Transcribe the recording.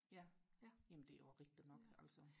ja jamen det er jo rigtigt nok altså